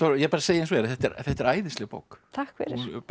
ég bara segi eins og er þetta er þetta er æðisleg bók takk fyrir